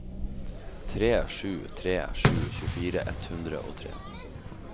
tre sju tre sju tjuefire ett hundre og tre